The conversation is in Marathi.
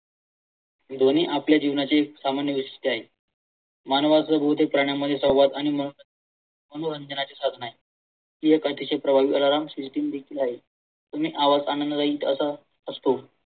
ध्वनी आपल्या जीवनातील सामान्य गोष्ट आहे. मानवाचा प्राण्यामध्ये सहवास आणि मनोरंजनाची साधन आहेत.